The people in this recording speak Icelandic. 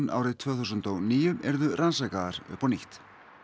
árið tvö þúsund og níu yrðu rannsakaðar upp á nýtt